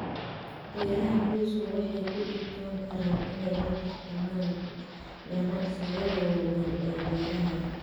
Beeraha qoysku waxay ku dhibtoon karaan inay la tartamaan ganacsiyada waaweyn ee beeraha.